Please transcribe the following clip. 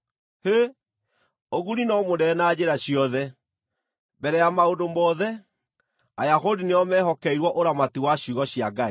Hĩ! Ũguni no mũnene na njĩra ciothe! Mbere ya maũndũ mothe, Ayahudi nĩo mehokeirwo ũramati wa ciugo cia Ngai.